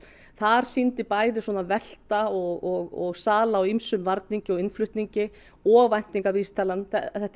þar sýndi bæði svona velta og sal a á ýmsum varningi og innflutningi og væntingavísitalan